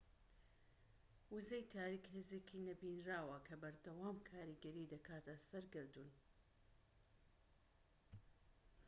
وزەی تاریك هێزێکی نەبینراوە کە بەردەوام کاریگەری دەکاتە سەر گەردوون